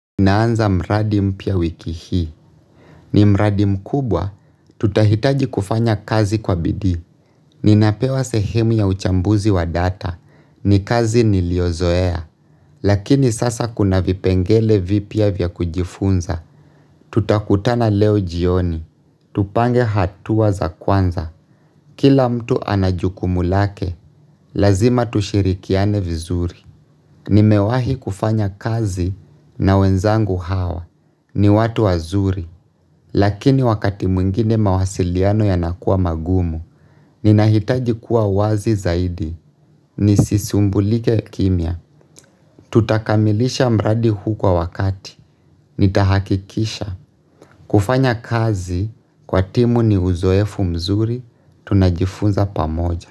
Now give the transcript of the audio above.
Naanza mradi mpya wiki hii. Ni mradi mkubwa. Tutahitaji kufanya kazi kwa bidii Ninapewa sehemu ya uchambuzi wa data. Ni kazi niliyozoea. Lakini sasa kuna vipengele vipya vya kujifunza. Tutakutana leo jioni. Tupange hatua za kwanza. Kila mtu ana jukumu lake. Lazima tushirikiane vizuri. Nimewahi kufanya kazi na wenzangu hawa ni watu wazuri Lakini wakati mwingine mawasiliano yanakuwa magumu Ninahitaji kuwa wazi zaidi nisisumbulike kimya Tutakamilisha mradi huu kwa wakati nitahakikisha kufanya kazi kwa timu ni uzoefu mzuri tunajifunza pamoja.